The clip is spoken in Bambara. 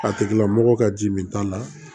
A tigila mɔgɔ ka ji min ta la